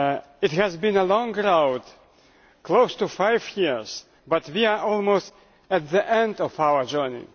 It has been a long road close to five years but we are almost at the end of our journey.